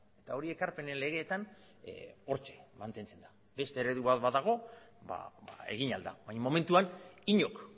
eta hori ekarpenen legeetan hortxe mantentzen da beste eredu bat badago ba egin ahal da baina momentuan inork